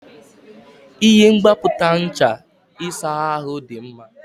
Ihe mgbapụta ncha ịsa ahụ dị mma.